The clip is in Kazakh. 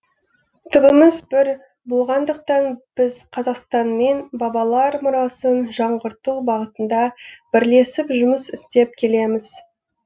түбіміз бір болғандықтан біз қазақстанмен бабалар мұрасын жаңғырту бағытында бірлесіп жұмыс істеп келеміз